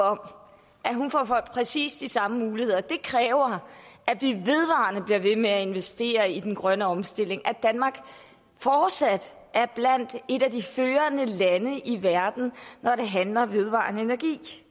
om at hun får præcis de samme muligheder det kræver at vi bliver ved med at investere i den grønne omstilling for at danmark fortsat er blandt de førende lande i verden når det handler om vedvarende energi